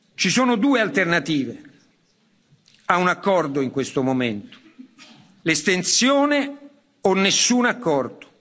Ci sono due alternative a un accordo in questo momento l'estensione o nessun accordo.